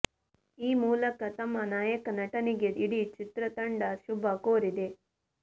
ಈ ಮೂಲಕ ತಮ್ಮ ನಾಯಕ ನಟನಿಗೆ ಇಡೀ ಚಿತ್ರತಂಡ ಶುಭ ಕೋರಿದೆ